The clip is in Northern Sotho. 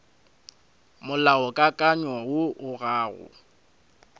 molaokakanywa woo o ga o